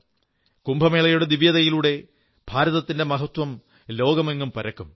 കുംഭമേളയുടെ ദിവ്യതയിലൂടെ ഭാരതത്തിന്റെ മഹത്വം ലോകമെങ്ങും പരക്കും